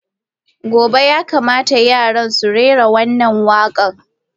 Gobe ​​ya kamata yara su rera wannan waƙar!